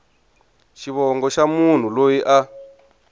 xivongo xa munhu loyi a